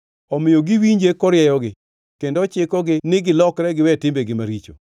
Omiyo giwinje korieyogi kendo ochikogi ni gilokre giwe timbegi maricho.